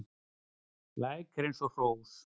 Læk er eins og hrós